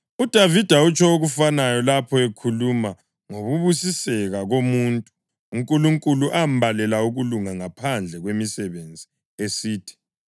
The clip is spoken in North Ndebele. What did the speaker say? UDavida utsho okufanayo lapho ekhuluma ngokubusiseka komuntu uNkulunkulu ambalela ukulunga ngaphandle kwemisebenzi, esithi: